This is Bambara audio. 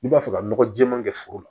N'i b'a fɛ ka nɔgɔ jɛɛman kɛ foro la